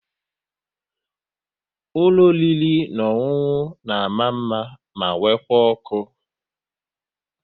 Ụlọ oriri na ọṅụṅụ na mma mma ma nwekwa ọkụ